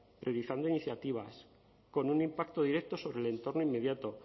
priorizando iniciativas con un impacto directo sobre el entorno inmediato